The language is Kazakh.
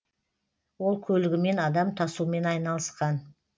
ол көлігімен адам тасумен айналысқан